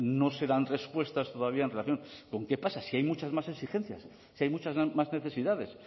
no se dan respuestas todavía en relación con qué pasa si hay muchas más exigencias si hay muchas más necesidades